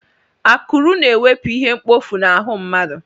Akụrụ na-ewepu ihe mkpọfu n'ahụ mmadụ.